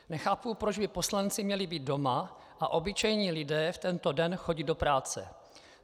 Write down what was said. Nechápu, proč by poslanci měli být doma a obyčejní lidé v tento den chodit do práce.